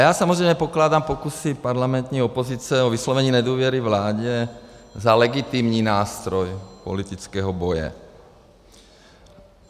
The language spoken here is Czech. Já samozřejmě pokládám pokusy parlamentní opozice o vyslovení nedůvěry vládě za legitimní nástroj politického boje.